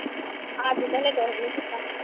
ਅੱਜ ਤਾਂ ਵੈਸੇ ਕੁਸ਼ ਨੀਂ ਕੀਤਾ।